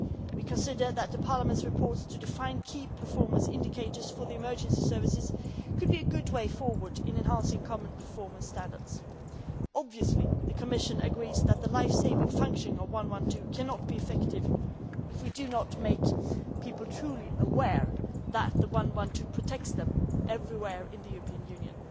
It considers that Parliament's proposals to define key performance indicators for the emergency services could be a good way forward in enhancing common performance standards. Obviously, the Commission agrees that the life saving function of the 112 emergency number cannot be effective if we do not make people truly aware that 112 protects them everywhere in the European Union.